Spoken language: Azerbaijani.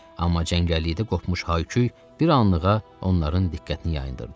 Amma cəngəllikdə qopmuş hay-küy bir anlığa onların diqqətini yayındırdı.